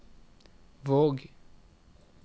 Våg